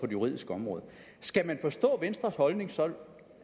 juridiske område skal man forstå venstres holdning sådan